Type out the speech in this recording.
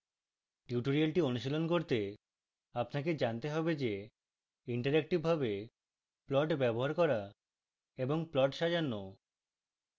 tutorial অনুশীলন করতে আপনাকে জানতে হবে যে ইন্টারেক্টিভভাবে প্লট ব্যবহার করা এবং প্লট সাজানো